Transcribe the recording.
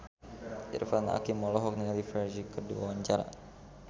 Irfan Hakim olohok ningali Ferdge keur diwawancara